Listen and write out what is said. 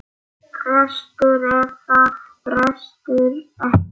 Prestur eða prestur ekki.